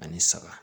Ani saba